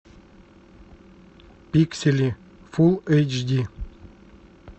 пиксели фул эйч ди